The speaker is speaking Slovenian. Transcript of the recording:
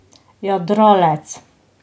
Jadralec.